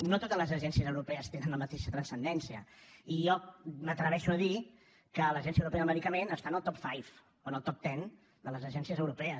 no totes les agències europees tenen la mateixa transcendència i jo m’atreveixo a dir que l’agència europea del medicament està en el top five o en el top ten de les agències europees